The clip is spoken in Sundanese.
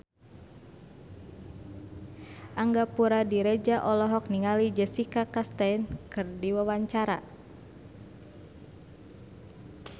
Angga Puradiredja olohok ningali Jessica Chastain keur diwawancara